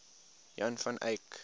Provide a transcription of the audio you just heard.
jan van eyck